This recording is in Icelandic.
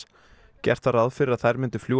gert var ráð fyrir að þær myndu fljúga